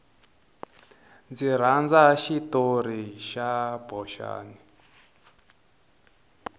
ndzi rhandza xitori xa boxani